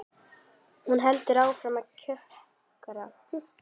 Hún heldur áfram að kjökra.